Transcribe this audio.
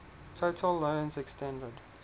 total loans extended